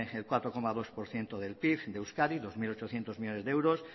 el cuatro coma dos por ciento del pib de euskadi dos mil ochocientos millónes de euros